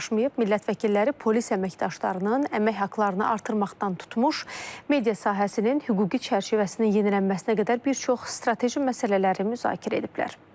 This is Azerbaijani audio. Millət vəkilləri polis əməkdaşlarının əmək haqlarını artırmaqdan tutmuş media sahəsinin hüquqi çərçivəsinin yenilənməsinə qədər bir çox strateji məsələləri müzakirə ediblər.